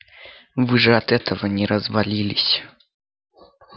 вы же от этого не развалились